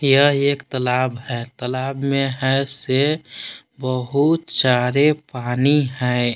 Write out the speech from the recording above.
यह एक तालाब है तालाब में है से बहुत सारे पानी है।